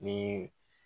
Ni